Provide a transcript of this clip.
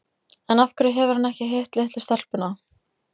En af hverju hefur hann ekki hitt litlu stelpuna?